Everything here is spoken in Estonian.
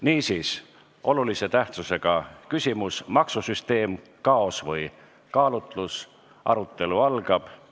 Niisiis, olulise tähtsusega küsimuse "Maksusüsteem – kaos või kaalutlus" arutelu algab.